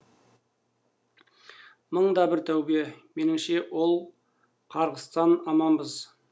мың да бір тәубе меніңше ол қарғыстан аманбыз